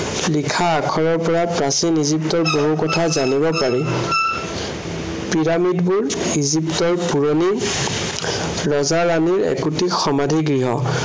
লিখা আখৰৰ পৰা প্ৰাচীন ইজিপ্তৰ বহু কথা জানিব পাৰি। পিৰামিডবোৰ ইজিপ্তৰ পুৰণি ৰজা ৰাণীৰ একোটি সমাধিগৃহ।